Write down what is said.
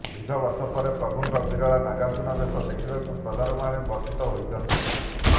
ଦୀର୍ଘ ବର୍ଷ ପରେ ପ୍ରଭୁଙ୍କ ବିରଳ ନାଗାର୍ଜୁନବେଶ ଦେଖିବାରୁ ଶ୍ରଦ୍ଧାଳୁମାନେ ବଞ୍ଚିତ ହୋଇଛନ୍ତି